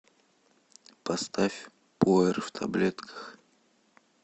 поставь пуэр в таблетках